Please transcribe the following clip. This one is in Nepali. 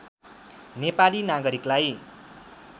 नेपाली नागरिकलाई